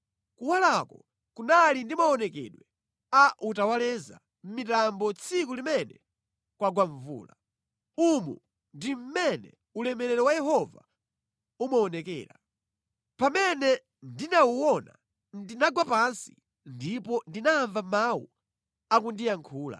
Kuwalako kunali ndi maonekedwe a utawaleza mʼmitambo tsiku limene kwagwa mvula. Umu ndi mmene ulemerero wa Yehova umaonekera. Pamene ndinawuona ndinagwa pansi ndipo ndinamva mawu akundiyankhula.